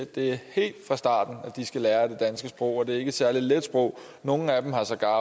det er helt fra starten at de skal lære det danske sprog og det er ikke et særlig let sprog nogle af dem har sågar